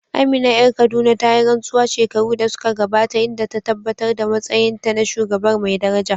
Amina ƴar Kaduna ta yi rantsuwa shekaru da suka gabata, inda ta tabbatar da matsayinta na shugabar mai daraja.